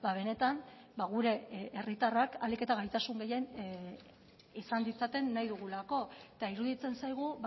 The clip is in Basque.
benetan gure herritarrak ahalik eta gaitasun gehien izan ditzaten nahi dugulako eta iruditzen zaigu